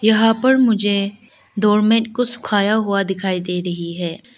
यहां पर मुझे डोरमेट को सुखाया हुआ दिखाई दे रही है।